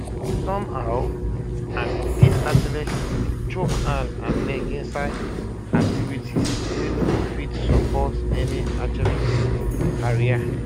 somehow and dis athlete go chook hand and leg inside activities wey no go fit support an athletics career